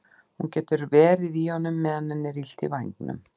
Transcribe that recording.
Hún getur verið í honum meðan henni er illt í vængnum.